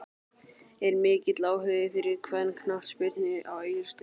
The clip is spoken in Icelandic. Er mikill áhugi fyrir kvennaknattspyrnu á Egilsstöðum?